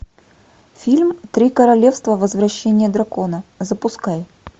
фильм три королевства возвращение дракона запускай